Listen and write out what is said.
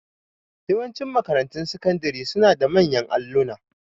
Yawanci makarantun sakandari suna da manyan alluna.